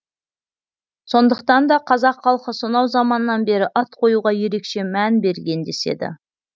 сондықтан да қазақ халқы сонау заманнан бері ат қоюға ерекше мән берген деседі